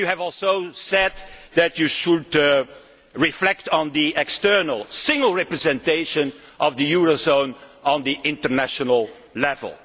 You have also said that you should reflect on the external single representation of the eurozone at international level.